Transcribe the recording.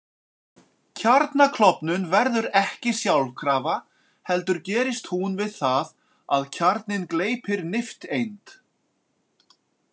Kjarnaklofnun verður ekki sjálfkrafa heldur gerist hún við það að kjarninn gleypir nifteind.